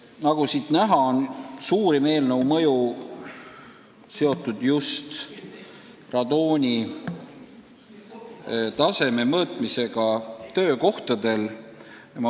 Nagu näha, oleks seaduse suurim mõju seotud just radoonitaseme mõõtmisega töökohtadel.